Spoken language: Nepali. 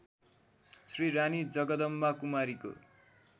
श्री रानी जगदम्बाकुमारीको